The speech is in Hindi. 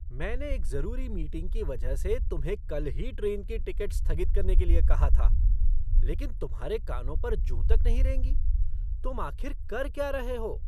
मैंने एक ज़रूरी मीटिंग की वजह से तुम्हें कल ही ट्रेन की टिकट स्थगित करने के लिए कहा था, लेकिन तुम्हारे कानों पर जूँ तक नहीं रेंगी, तुम आखिर कर क्या रहे हो?